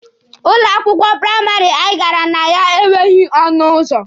Ụlọ akwụkwọ praịmarị anyị gara akwụkwọ na ya enweghị ọnụ ụzọ.